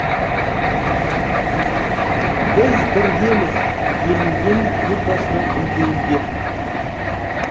біз біргеміз делінген елбасының үндеуінде